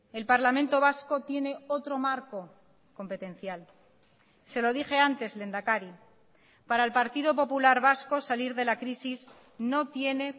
el parlamento vasco tiene otro marco competencial se lo dije antes lehendakari para el partido popular vasco salir de la crisis no tiene